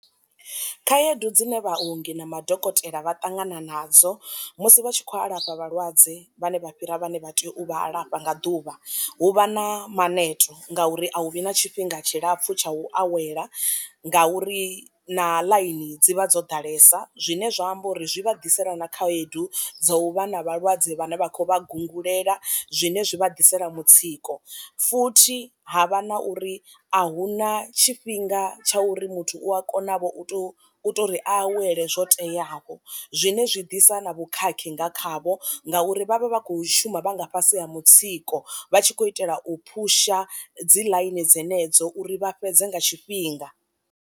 Khaedu dzine vhaongi na ma dokotela vha ṱangana nadzo musi vha tshi kho alafha vha lwadze vhane vha fhira vhane vha tea u vha alafha nga ḓuvha, hu vha na maneto ngauri a hu vhi na tshifhinga tshilapfu tsha u awela ngauri na ḽaini dzi vha dzo ḓalesa, zwine zwa amba uri zwi vha ḓisela na khaedu dzo u vha na vha lwadze vhane vha khou vha gungulela zwine zwi vha ḓisela mutsiko. Futhi ha vha na uri a hu na tshifhinga tsha uri muthu u a kona vho u tou u to ri a awele zwo teaho, zwine zwi ḓisa na vhu khakhi nga khavho ngauri vhavha vha kho shuma vhanga fhasi ha mutsiko vha tshi khou itela u phusha dzi ḽaini dzenedzo uri vha fhedze nga tshifhinga.